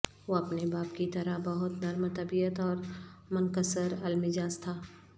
وہ اپنے باپ کی طرح بہت نرم طبیعت اور منکسر المزاج تھا